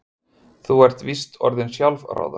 Þú ert víst orðin sjálfráða.